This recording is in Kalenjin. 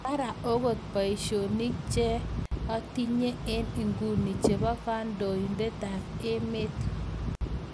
Mara okot paishonik cheng atinye eng ikuni chepo kandoitet ap emet.